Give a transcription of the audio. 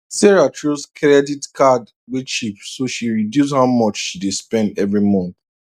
sarah choose kredit card wey cheap so she reduce how much she dey spend every month